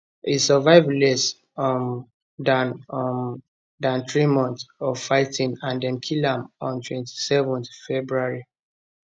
e survive less um dan um dan three months of fighting and dem kill am on 27 february